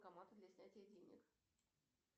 банкоматы для снятия денег